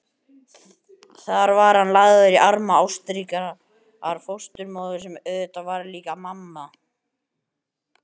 Þar var hann lagður í arma ástríkrar fósturmóður sem auðvitað varð líka mamma.